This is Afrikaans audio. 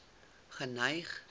geneig